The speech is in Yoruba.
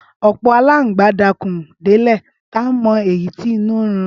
Ọpọ àlàńgbà lò dà kún dẹlẹ tà mọ ìyí ti ìnú rún